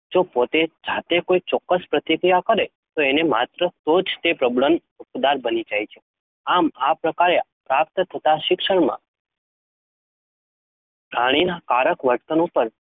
જો પોતે જાતે કોઈ ચોક્કસ પ્રતિક્રિયા કરે તો એને માત્ર તો જ તે પ્રબલનનું હક્કદાર બની શકે છે. આમ, આ પ્રકારે પ્રાપ્ત થતા શિક્ષણમાં પ્રાણીના કારક વર્તન ઉપર